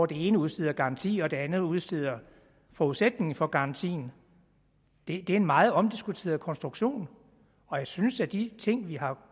det ene udsteder garantien og det andet udsteder forudsætningen for garantien det er en meget omdiskuteret konstruktion og jeg synes at de ting vi har